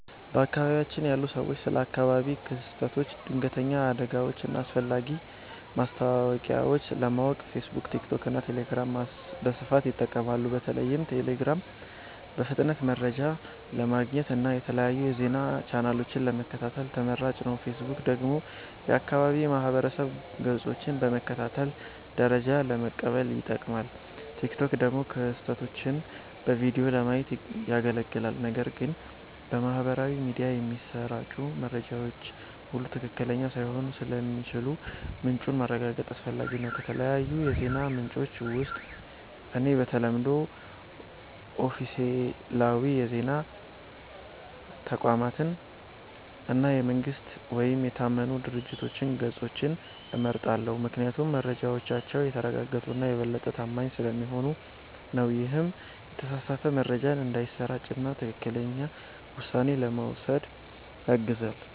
በአካባቢያችን ያሉ ሰዎች ስለ አካባቢያዊ ክስተቶች፣ ድንገተኛ አደጋዎች እና አስፈላጊ ማስታወቂያዎች ለማወቅ ፌስቡክ፣ ቲክቶክ እና ቴሌግራምን በስፋት ይጠቀማሉ። በተለይም ቴሌግራም በፍጥነት መረጃ ለማግኘት እና የተለያዩ የዜና ቻናሎችን ለመከታተል ተመራጭ ነው። ፌስቡክ ደግሞ የአካባቢ ማህበረሰብ ገጾችን በመከታተል መረጃ ለመቀበል ይጠቅማል፣ ቲክቶክ ደግሞ ክስተቶችን በቪዲዮ ለማየት ያገለግላል። ነገር ግን በማህበራዊ ሚዲያ የሚሰራጩ መረጃዎች ሁሉ ትክክለኛ ላይሆኑ ስለሚችሉ ምንጩን ማረጋገጥ አስፈላጊ ነው። ከተለያዩ የዜና ምንጮች ውስጥ እኔ በተለምዶ ኦፊሴላዊ የዜና ተቋማትን እና የመንግስት ወይም የታመኑ ድርጅቶች ገጾችን እመርጣለሁ፤ ምክንያቱም መረጃዎቻቸው የተረጋገጡ እና የበለጠ ታማኝ ስለሚሆኑ ነው። ይህም የተሳሳተ መረጃ እንዳይሰራጭ እና ትክክለኛ ውሳኔ ለመውሰድ ያግዛል።